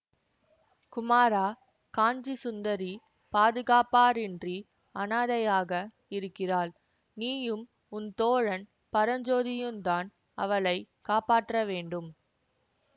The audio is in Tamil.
குமாரா காஞ்சி சுந்தரி பாதுகாப்பாரின்றி அனாதையாக இருக்கிறாள் நீயும் உன் தோழன் பரஞ்சோதியுந்தான் அவளை காப்பாற்ற வேண்டும்